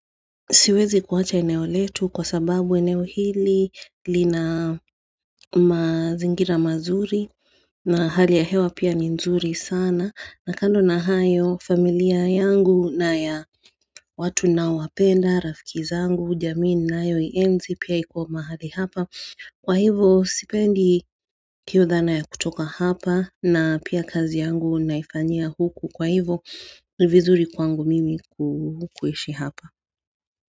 Siwezi kuwacha eneo letu kwa sababu eneo hili li na mazingira mazuri na hali ya hewa pia ni nzuri sana na kando na hayo familia yangu na ya watu naowapenda, rafikizangu, jamiininayo ienzi pia iko mahali hapa kwa hivo sipendi hiyo dhana ya kutoka hapa na pia kazi yangu naifanyia huku kwa hivo vizuri kwangu mimi kuishi hapa.